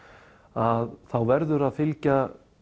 að þá verður að fylgja